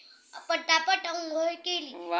पटापट अंघोळ केली